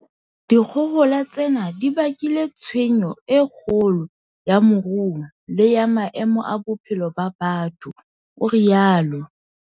"Dikgohola tsena di bakile tshenyo e kgolo ya moruo le ya maemo a bophelo ba batho," o rialo.